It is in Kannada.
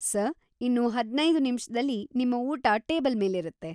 ಸರ್‌, ಇನ್ನು ಹದ್ನೈದು ನಿಮಿಷ್ದಲ್ಲಿ ನಿಮ್ಮ ಊಟ ಟೇಬಲ್‌ ಮೇಲಿರುತ್ತೆ.